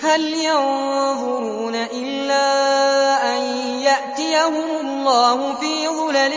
هَلْ يَنظُرُونَ إِلَّا أَن يَأْتِيَهُمُ اللَّهُ فِي ظُلَلٍ